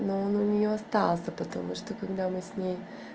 но он у неё остался потому что когда мы с ней